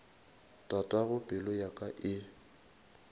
tatago pelo ya ka e